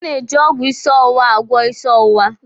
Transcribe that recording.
A na-eji ọgwụ ịsị ọwụwa agwọ ịsị ọwụwa.